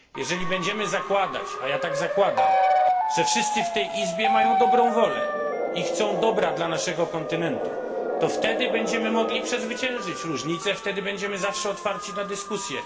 Jeżeli będziemy zakładać, a ja tak zakładam, że wszyscy w tej Izbie mają dobrą wolę i chcą dobra dla naszego kontynentu, to wtedy będziemy mogli przezwyciężyć różnice, wtedy będziemy zawsze otwarci na dyskusje.